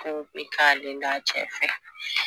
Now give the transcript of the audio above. Kow be k'ale l'a cɛ fɛ